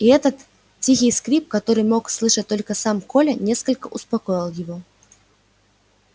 и этот тихий скрип который мог слышать только сам коля несколько успокоил его